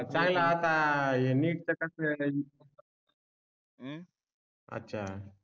चांगला असा ही NEET च कस आहे अछा